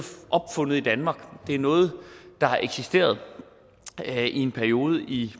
opfundet i danmark det er noget der har eksisteret i en periode i